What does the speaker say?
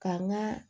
K'an ga